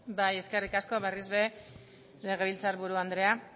bai eskerrik asko berriz ere legebiltzarburu andrea